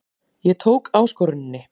Ég tók áskoruninni.